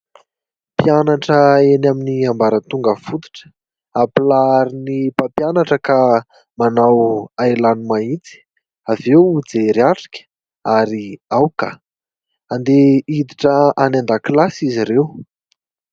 Mpianatra eny amin'ny ambaratonga fototra; ampilaharin'ny mpampianatra ka manao ahilano-mahitsy, avy eo jery-atrika ary aoka! Handeha hiditra any an-dakilasy izy ireo.